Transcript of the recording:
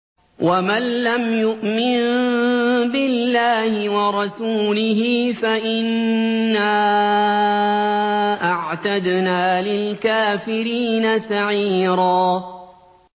وَمَن لَّمْ يُؤْمِن بِاللَّهِ وَرَسُولِهِ فَإِنَّا أَعْتَدْنَا لِلْكَافِرِينَ سَعِيرًا